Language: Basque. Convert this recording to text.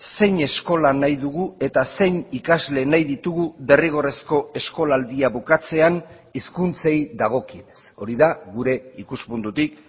zein eskola nahi dugu eta zein ikasle nahi ditugu derrigorrezko eskolaldia bukatzean hizkuntzei dagokienez hori da gure ikuspuntutik